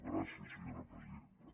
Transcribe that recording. gràcies senyora presidenta